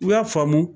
U y'a faamu